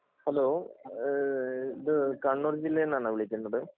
hello ഇത് കണ്ണൂർ ജില്ലയിൽ നിന്നാണ് വിളിക്കുന്നത്